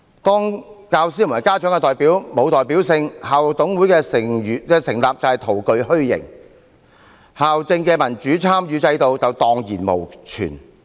當教師和家長的代表沒有代表性，校董會的成立便是徒具虛形，校政的民主參與制度便會蕩然無存。